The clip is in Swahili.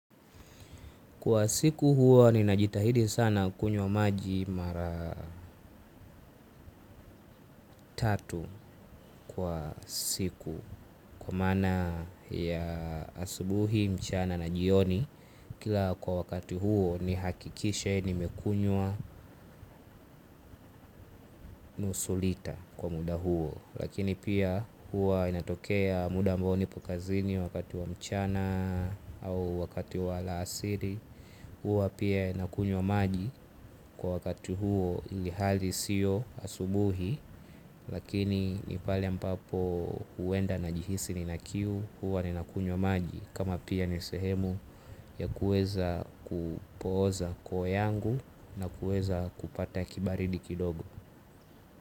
Kwa siku huwa nina jitahidi sana kunywa maji mara tatu kwa siku. Kwa maana ya asubuhi, mchana na jioni. Kila kwa wakati huo nihakikishe nimekunywa nusu lita kwa muda huo. Lakini pia huwa inatokea muda ambao nipo kazini wakati wa mchana au wakati wa alasiri. Huwa pia nakunywa maji kwa wakati huo ilihali sio asubuhi. Lakini ni pale ambapo huenda najihisi nina kiu huwa ni nakunywa maji. Kama pia ni sehemu ya kuweza ku pooza koo yangu na kuweza kupata kibaridi kidogo.